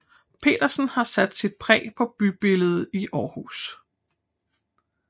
Petersen har sat sit præg på bybilledet i Aarhus